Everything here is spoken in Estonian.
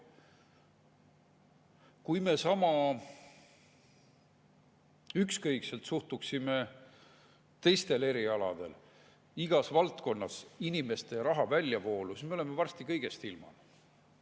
Kui me sama ükskõikselt suhtuksime teistel erialadel, teistes valdkondades inimeste ja raha väljavoolu, siis me oleksime varsti kõigest ilma.